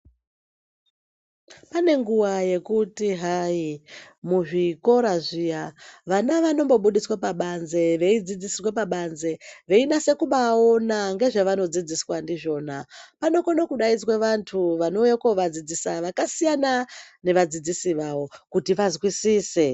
Pane nguwa yekuti hai muzvikora zviya vana vanombobudiswa pabanze veidzidzisirwa pabanze veinase kubaona ngezvevanodzidziswa ndizvona. Panokone kudaizwa vantu vanouye kuvadzidzisa vakasiyana nevadzidzisi vavo kuti vazwisise.